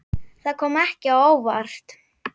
Það kom ekki á óvart.